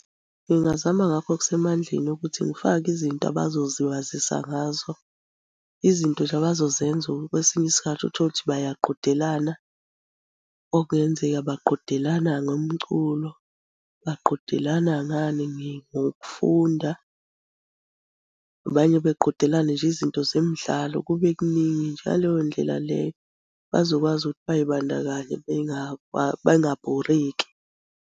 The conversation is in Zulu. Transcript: Ngingazama ngakho okusemandleni ukuthi ngifake izinto abazoziwazisa ngazo. Izinto nje abazozenza kwesinye isikhathi uthole ukuthi bayaqhudelana. Okungenzeka baqhudelana ngomculo, baqhudelana ngani, ngokufunda. Nabanye beqhudelane nje izinto zemidlalo, kube kuningi nje. Ngaleyo ndlela leyo bazokwazi ukuthi bazibandakanye bengabhoreki.